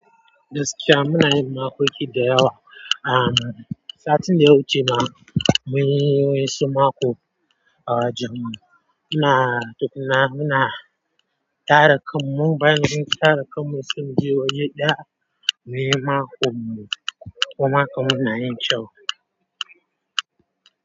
Muna yin maƙoki da yawa. Ah, satin da wuce ma mun yi wani sumaƙo, ah, wajan mu, muna tukna muna tara kamu bayan mun tara kamu sai muje waje ɗaya, mun yi maƙon mu. Maƙon mu na yin kyau.